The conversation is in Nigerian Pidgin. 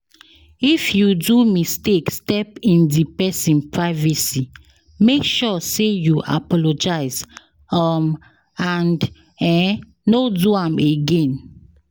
If you do mistake step in di persin privacy make sure say you apologize um and um no do am again